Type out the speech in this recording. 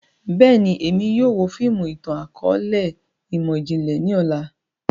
Bẹ́ẹ̀ni, Emi yóò wo fiimu itan-akọọlẹ imọ-jinlẹ ni ọla.